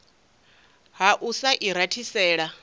ha u sa i rathisela